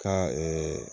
Ka